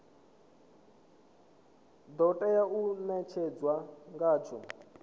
do tea u netshedzwa ngatsho